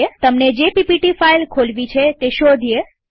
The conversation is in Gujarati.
તમને જે પીપીટી ફાઈલ ખોલવી છે તે શોધીએ